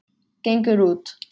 Gengur út.